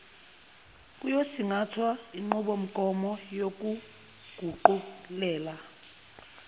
kuyosingathwa yinqubomgomo yokuguqulela